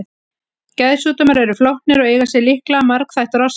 Geðsjúkdómar eru flóknir og eiga sér líklega margþættar orsakir.